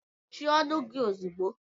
Mechie ọnụ gị ozugbo!